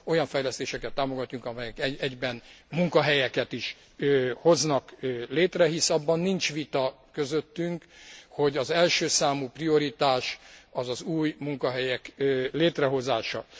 Olyan fejlesztéseket támogatunk, amelyek egyben munkahelyeket is hoznak létre, hisz abban nincs vita közöttünk, hogy az elsőszámú prioritás az az új munkahelyek létrehozása.